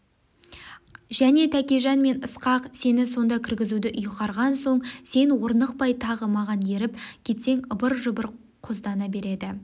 және тәкежан мен ысқақ сені сонда кіргізуді үйғарған соң сен орнықпай тағы маған еріп кетсең ыбыр-жыбыр қоздана береді